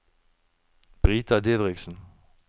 Brita Didriksen